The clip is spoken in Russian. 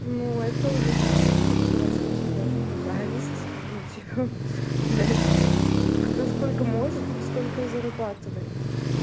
ну это уже звучит как просто типа зависть но типа блять кто сколько может тот столько и зарабатывает